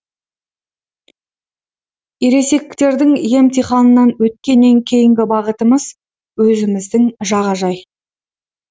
ересектердің емтиханынан өткеннен кейінгі бағытымыз өзіміздің жағажай